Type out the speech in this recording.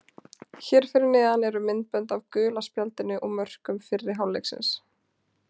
Hér fyrir neðan eru myndbönd af gula spjaldinu og mörkum fyrri hálfleiksins.